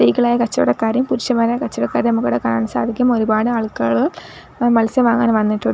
സ്ത്രീകൾ ആയ കച്ചവടക്കാരെയും പുരുഷന്മാരായ കച്ചവടക്കാരെയും നമുക്കിവിടെ കാണാൻ സാധിക്കും ഒരുപാട് ആൾക്കാറ് മത്സ്യം വാങ്ങാൻ വന്നിട്ടുണ്ട് --